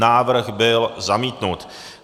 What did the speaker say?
Návrh byl zamítnut.